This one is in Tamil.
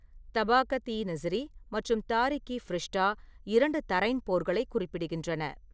தபாகத்-இ நசிரி மற்றும் தாரிக்-இ-ஃபிரிஷ்டா, இரண்டு தரைன் போர்களைக் குறிப்பிடுகின்றன.